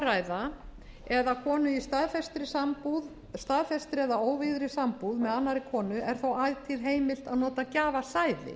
að ræða eða konu í staðfestri sambúð staðfestri eða óvígðri sambúð með annarri konu er þó ætíð heimilt að nota gjafasæði